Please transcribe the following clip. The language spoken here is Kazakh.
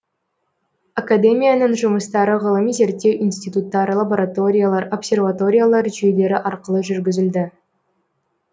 академияның жұмыстары ғылыми зерттеу институттар лабораториялар обсерваториялар жүйелері арқылы жүргізілді